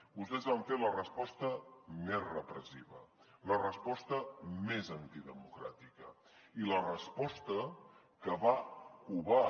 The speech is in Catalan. vostès van fer la resposta més repressiva la resposta més antidemocràtica i la resposta que va covar